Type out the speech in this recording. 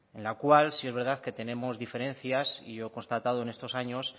en la cual si es verdad que tenemos diferencias y yo he constatado en estos años